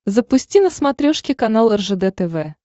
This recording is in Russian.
запусти на смотрешке канал ржд тв